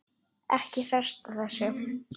Ekki fresta þessu